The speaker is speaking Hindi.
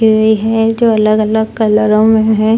टोइ है जो अलग-अलग कलरों में है।